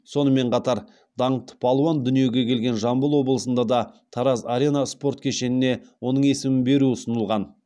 сонымен қатар даңқты палуан дүниеге келген жамбыл облысында да тараз арена спорт кешеніне оның есімін беру ұсынылған